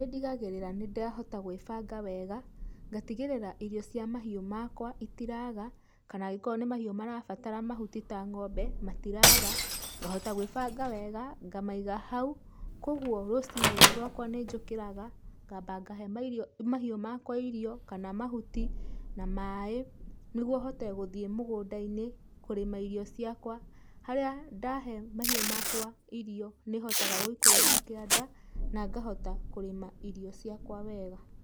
Nĩ ndigagĩrĩra nĩ ndahota gwĩbanga wega, ngatigĩrĩra irio cia mahiũ makwa itiraga, kana angĩkorwo nĩ mahiũ marabatara mahuti ta ngombe, matiraga, ngahota gwĩbanga wega ngamaiga hau, kogwo rũcinĩ rwaka nĩ njũkĩraga ngamba ngahe mahiũ makwa irio kana mahuti na maĩ, nĩgwo hote gũthiĩ mũgũnda-inĩ, kũrĩma irio ciakwa, harĩa ndahe mahiũ makwa irio nĩ hotaga gũikũrũka kĩanda, na ngahota kũrĩma irio ciakwa wega.